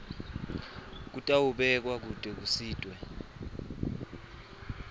titawubekwa kute kusitwe